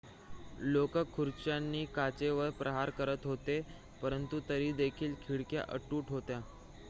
लोकं खुर्च्यांनी काचेवर प्रहार करत होते पंरतु तरीदेखील खिडक्या अतूट होत्या